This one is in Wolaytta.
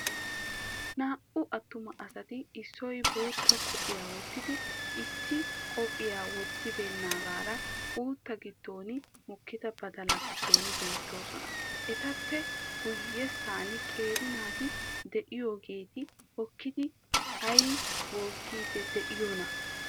Naa"u atuma asati issoy bootta qophphiya wottidi issi qophphiyaa wottibeennagara uuttaa giddon mokkida badalaa giddon beettosona. Etappe guyessan qeeri naati de"iyoogeeti hokkidi ay bookiidi de"iyoonaa?